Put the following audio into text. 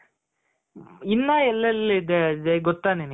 ಇನ್ನ ಎಲ್ಲೆಲ್ಲಿ ಇದೆ ಗೊತ್ತ ಅಜಯ್ ನಿನ್ಗೆ.